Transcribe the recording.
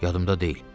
Yadımda deyil.